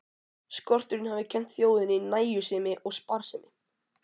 Skorturinn hafi kennt þjóðinni nægjusemi og sparsemi.